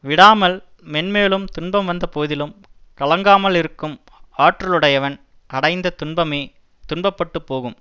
விடாமல் மேன் மேலும் துன்பம் வந்தபோதிலும் கலங்காமலிருக்கும் ஆற்றலுடையவன் அடைந்த துன்பமே துன்ப பட்டு போகும்